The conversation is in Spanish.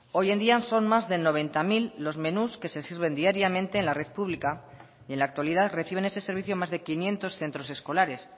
hoy en día son más de noventa mil los menús que se sirven diariamente en la red pública y en la actualidad reciben ese servicio más de quinientos centros escolares